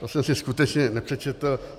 To jsem si skutečně nepřečetl.